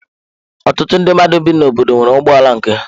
Ọtụtụ ndị mmadụ bi n'obodo nwere ụgbọ ala nke ha.